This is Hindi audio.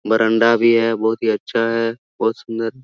बरांडा भी है बहुत ही अच्छा है बहुत सुंदर--